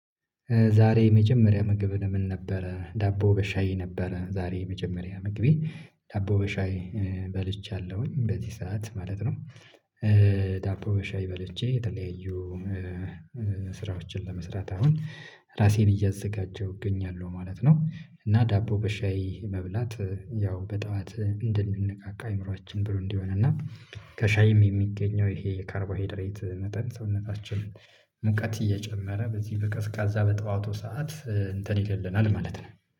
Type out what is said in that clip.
ዛሬ የመጀመሪያ ምግብህ ምን ነበረ? ዳቦ በሻዬ ነበረ ዛሬ የመጀመሪያ ምግቤ ዳቦ በሻይ በልቻለሁኝ በዚህ ሰዓት ማለት ነው። ዳቦ በሻይ በልቼ የተለያዩ ስራዎችን ለመስራት አሁን ራሴን እያዘጋጀሁ እገኛለሁ ማለት ነው። እና ዳቦ በሻይ መብላት ያው በጠዋት እንድንነቃቃ አእምሮአችን ብሩህ እንዲሆን እና ከሻይም የሚገኘው ይሄ ካርቦሃይድሬት መጠጥ ሰውነታችን ሙቀት እየጨመረ በዚህ በቀዝቃዛ በጠዋቱ ሰዓት እንትን ይልልናል ማለት ነው